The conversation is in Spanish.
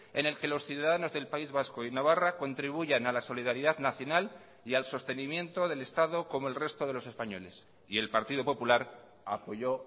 en el que los ciudadanos del país vasco y navarra contribuyan a la solidaridad nacional y al sostenimiento del estado como el resto de los españoles y el partido popular apoyó